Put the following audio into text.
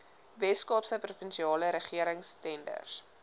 weskaapse provinsiale regeringstenders